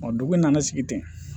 Dugu in nana sigi ten